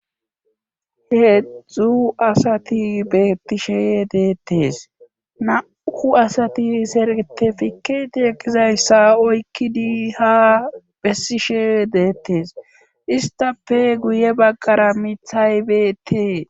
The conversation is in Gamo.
heedzdzu asati beetishe deettes nauku asati sertefiketi ekkizayssa oykkidi ha bessishe deettes istafe guye baggara mithay beetee